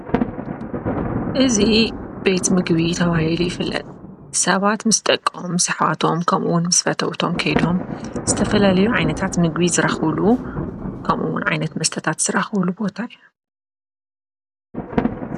እዚ ቤት ምግብን መስተን ተባሂሉ ዝፍለጥ እንትከውን፣ ደቂ ሰባት ምስ ደቆም ከምኡ'ውን ፈተውቶም ኮይኖም ዝተፈላለዩ ምግብታትን መስተታትን ዝረክብሉ ቦታ እዩ።